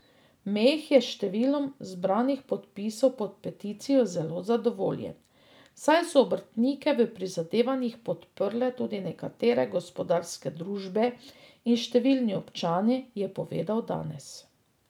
Meh je s številom zbranih podpisov pod peticijo zelo zadovoljen, saj so obrtnike v prizadevanjih podprle tudi nekatere gospodarske družbe in številni občani, je povedal danes.